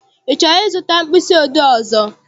I chọrọ I zụta mkpịsị odee ọzọ?